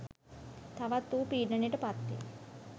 තවත් ඌ පීඩනයට පත්වෙයි